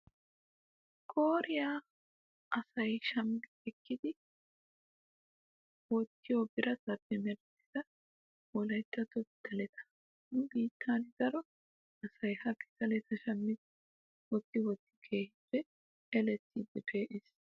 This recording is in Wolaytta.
Qooriya asayi shammi ekkidi wottiyo biratappe merettida wolayityatto pitaleta. Nu biittan daro asayiha pitaleta shammidi wotti wotti kehippe elettiiddi pee"es